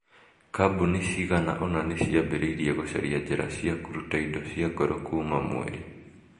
Kambuni cigana ũna nĩ ciambĩrĩirie gũcaria njĩra cia kũruta indo cia goro kuuma Mweri.